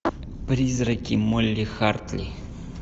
призраки молли хартли